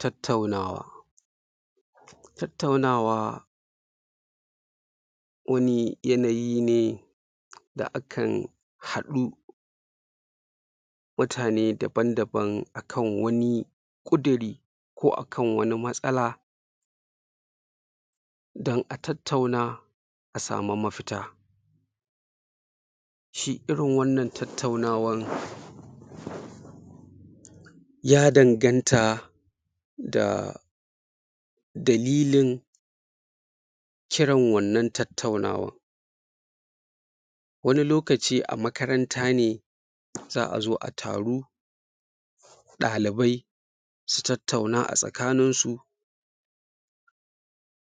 Tattaunawa tattaunawa wani yanayi ne da akan haɗu mutane daban-daban akan wani ƙudiri ko akan wani matsala dan a tattauna a sama mafita shi irin wannan tattaunawan ya danganta da dalilin kiran wannan tattaunawa wani lokaci a makaranta ne za'a zo a taru ɗalibai su tattauna a tsakanin su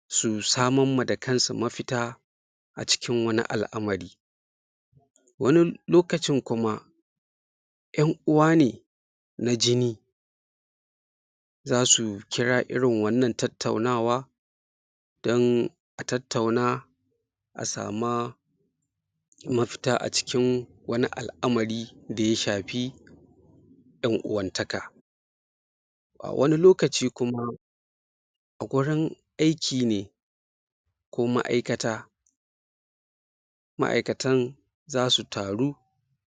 su saman ma da kan su mafita a cikin wani al'amari wani lokacin kuma ƴan'uwa ne na jini zasu kira irin wannan tattaunawa dan a tattauna a sama mafita a cikin wani al'amari da ya shafi ƴan'uwan taka a wani lokaci kuma a gurin aiki ne ko ma'aikata ma'aikatan zasu taru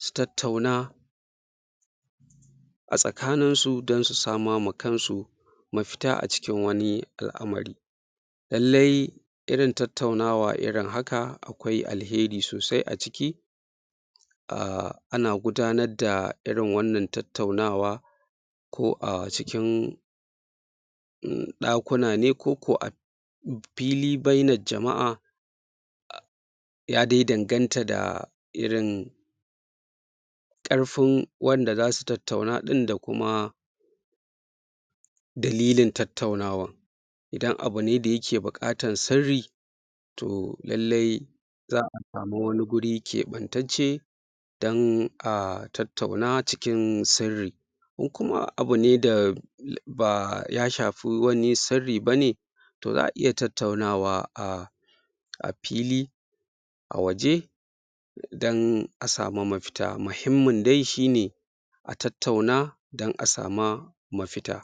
su tattauna a tsakanin su dan su sama ma kan su mafita a cikin wani al'amari lallai irin tattaunawa irin haka akwai alheri sosai a ciki ah, ana gudanar da irin wannan tattaunawa ko a cikin ɗakuna ne ko ko a fili bainar jama'a ya dai danganta da irin ƙarfin wanda zasu tattauna ɗin da kuma dalilin tattaunawa dan abu ne da yake buƙatan sirri to lallai za'a samu wani guri keɓantacce dan a tattauna cikin sirri ko kuma abu ne da ba ya shafi wani sirri bane to za'a iya tattaunawa a a fili a waje dan a sama mafita, muhimmin dai shi ne a tattauna dan a sama mafita.